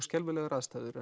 skelfilegar aðstæður